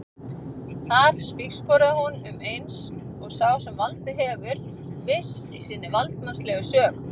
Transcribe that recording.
Þar spígsporaði hún um eins og sá sem valdið hefur, viss í sinni valdsmannslegu sök.